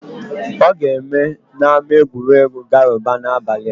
Ọ ga-eme n'ámá egwuregwu Garuba n'abalị a.